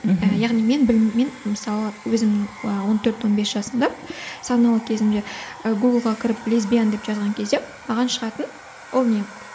ііі яғни мен біліммен мысалы өзімнің он төрт он бес жасымда саналы кезімде і гугл ға кіріп лесбиян деп жазған кезде маған шығатын ол не